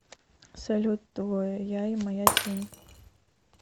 салют двое я и моя тень